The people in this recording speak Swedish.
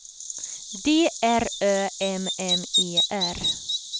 D R Ö M M E R